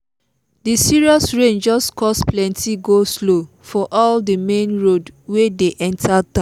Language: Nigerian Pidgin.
the serious rain just cause plenty go-slow for all the main road wey dey enter town